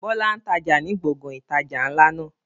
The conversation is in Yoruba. Bọlá ń tája ni gbọ̀ngàn ìtajà ńlá náà